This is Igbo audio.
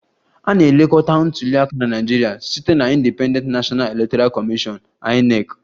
A na-elekọta ntuli aka na Naịjirịa site na Independent National Electoral Commission (INEC)